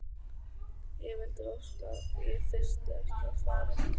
Ég vildi óska að ég þyrfti ekki að fara.